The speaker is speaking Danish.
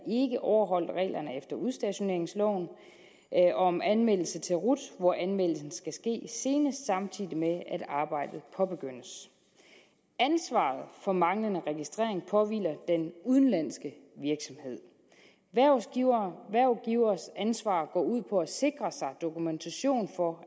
overholdt reglerne efter udstationeringsloven om anmeldelse til rut hvor anmeldelsen skal ske senest samtidig med at arbejdet påbegyndes ansvaret for manglende registrering påhviler den udenlandske virksomhed hvervgivers ansvar går ud på at sikre sig dokumentation for at